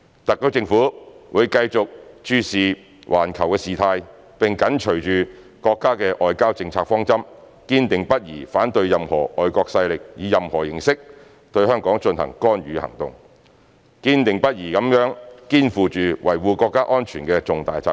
特區政府會繼續注視環球事態，並緊隨着國家的外交政策方針，堅定不移地反對任何外國勢力以任何形式對香港進行干預行動，堅定不移地肩負起維護國家安全的重大責任。